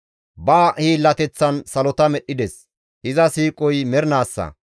Ba hiillateththan salota medhdhides; iza siiqoy mernaassa.